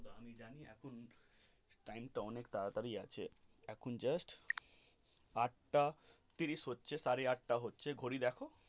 আমি জানি এখন time তা অনেক তাড়াতাড়ি আছে এখন just আটটা তিরিশ হচ্ছে সাড়ে আটটা হচ্ছে ঘড়ি দেখো.